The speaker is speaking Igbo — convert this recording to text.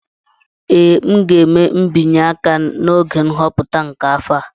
Ee, m ga-eme mbinye aka n'oge nhọpụta nke afọ a